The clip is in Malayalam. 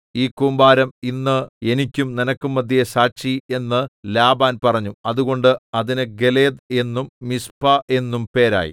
ഈ കൂമ്പാരം ഇന്ന് എനിക്കും നിനക്കും മദ്ധ്യേ സാക്ഷി എന്ന് ലാബാൻ പറഞ്ഞു അതുകൊണ്ട് അതിന് ഗലേദ് എന്നും മിസ്പാ എന്നും പേരായി